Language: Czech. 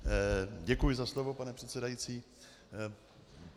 Děkuji za slovo, pane předsedající.